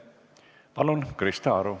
Palun, Krista Aru!